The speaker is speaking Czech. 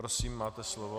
Prosím, máte slovo.